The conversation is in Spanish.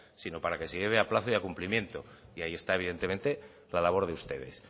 sino para que se lleve a plazo y a cumplimiento y ahí está evidentemente la labor de ustedes